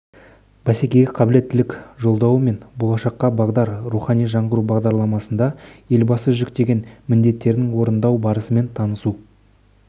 бәсекеге қабілеттілік жолдауы мен болашаққа бағдар рухани жаңғыру бағдарламасында елбасы жүктеген міндеттердің орындалу барысымен танысу